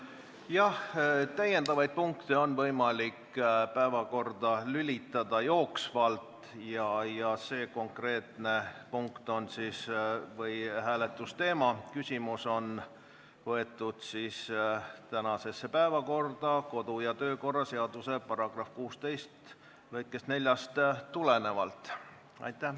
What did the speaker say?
Jah, täiendavaid punkte on võimalik päevakorda lülitada jooksvalt ja see konkreetne hääletus on võetud tänasesse päevakorda kodu- ja töökorra seaduse § 16 lõikest 4 tulenevalt.